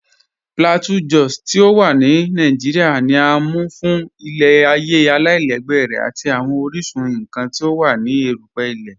P̀lateau Jòs ti o wà ní Nàìjíríà, ní à mú fún ilẹ̀-ayé aláìlẹ̀gbẹ̀ rẹ̀ àti awọn oríṣun nkàn ti o wà ní èrùpẹ̀ ilẹ̀.